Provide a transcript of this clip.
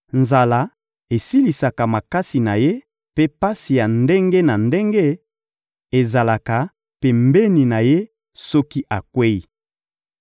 Nzala esilisaka makasi na ye, mpe pasi ya ndenge na ndenge ezalaka pembeni na ye soki akweyi.